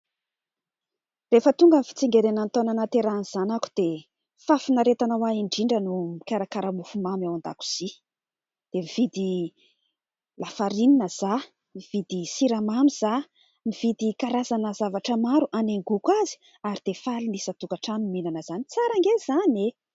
Rehefa tonga ny fitsingerenan'ny taona nahaterahan'ny zanako dia fahafinaretana ho ahy indrindra ny mikarakara mofomamy ao an-dakozia ; dia nividy lafarinina izaho, nividy siramamy izaho, nividy karazana zavatra maro hanaingoko azy ary dia faly ny isan-tokatrano mihinana izany. Tsara ange izany e !